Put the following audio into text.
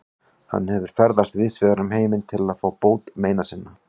Hann hefur ferðast víðsvegar um heiminn til að fá bót meina sinna.